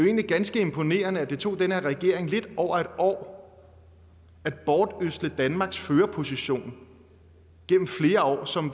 egentlig ganske imponerende at det tog den her regering lidt over et år at bortødsle danmarks førerposition gennem flere år som